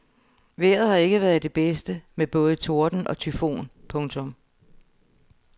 Vejret har ikke været det bedste med både torden og tyfon. punktum